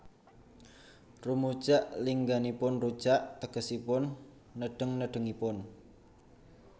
Rumujak lingganipun rujak tegesipun nedheng nedhengipun